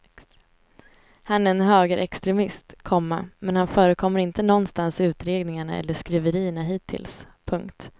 Han är en högerextremist, komma men han förekommer inte någonstans i utredningarna eller skriverierna hittills. punkt